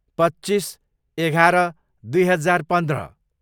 पच्चिस, एघार, दुई हजार पन्ध्र